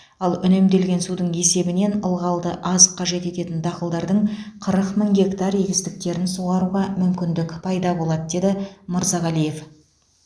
ал үнемделген судың есебінен ылғалды аз қажет ететін дақылдардың қырық мың гектар егістіктерін суаруға мүмкіндік пайда болады деді мырзағалиев